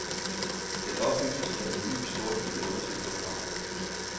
Det oplyses, at en ny, storstilet undersøgelse er på vej.